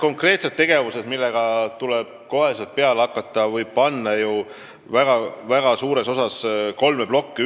Konkreetsed tegevused, millega tuleb kohe peale hakata, võib lahterdada suures osas kolme plokki.